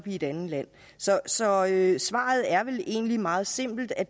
i et andet land så svaret svaret er vel egentlig meget simpelt at